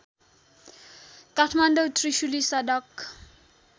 काठमाडौँ त्रिशुली सडक